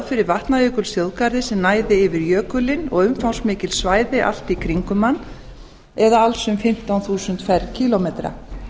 fyrir vatnajökulsþjóðgarði sem næði yfir jökulinn og umfangsmikil svæði allt í kringum hann eða alls um fimmtán þúsund ferkílómetra